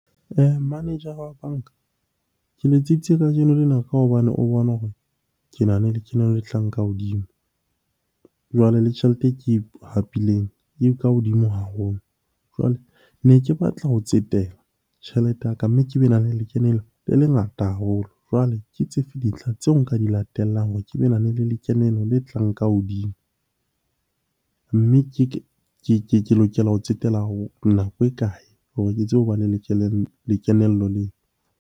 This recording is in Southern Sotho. Manager- ra wa banka, ke letseditse kajeno lena ka hobane o bona hore ke nahana le lekeno le tlang ka hodimo. Jwale le tjhelete e ke hapileng e ka hodimo haholo. Jwale ne ke batla ho tsetela tjhelete ya ka, mme ke be na le lekeno le le ngata haholo. Jwale ke tsefe dintlha tseo nka di latellang hore ke be na le lekeno le tlang ka hodimo. Mme ke lokela ho tsetela nako e kae hore ke tsebe ho bana le lekenello leo?